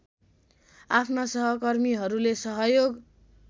आफ्ना सहकर्मीहरूले सहयोग